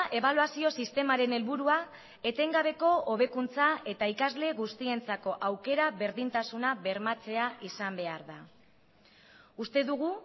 ebaluazio sistemaren helburua etengabeko hobekuntza eta ikasle guztientzako aukera berdintasuna bermatzea izan behar da uste dugu